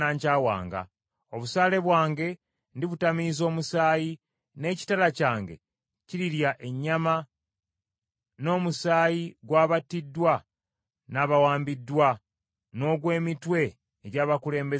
Obusaale bwange ndibutamiiza omusaayi, n’ekitala kyange kirirya ennyama, n’omusaayi gw’abattiddwa n’abawambiddwa, n’ogw’emitwe egy’abakulembeze b’abalabe.